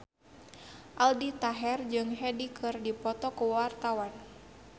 Aldi Taher jeung Hyde keur dipoto ku wartawan